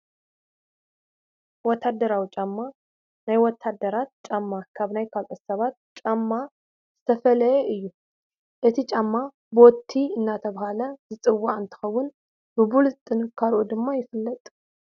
ወታደራዊ ጫማ-ናይ ወታደራት ጫማ ካብ ናይ ካልኦት ሰባት ጫማ ዝተፈለየ እዩ፡፡ እዚ ጫማ ቦቲ እናተባህለ ዝፅዋዕ እንትኾን ብብሉፅ ጥንካርኡ ድማ ይፍለጥ፡፡